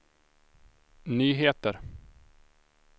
nyheter